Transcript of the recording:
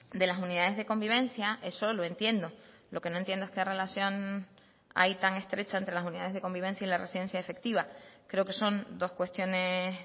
de las unidades de convivencia eso lo entiendo lo que no entiendo es qué relación hay tan estrecha entre las unidades de convivencia y la residencia efectiva creo que son dos cuestiones